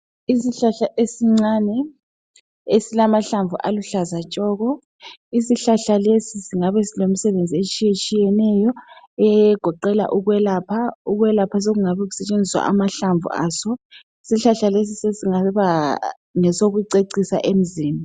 Isihlahla esincane esilamahlamvu aluhlaza tshoko Isihlahla lesi singabe silemisebenzi etshiyetshiyeneyo egoqela ukwelapha. Ukwelapha sokungabe kusetshenziswa amahlamvu aso. Isihlahla lesi sesingaba ngesokucecisa emzini.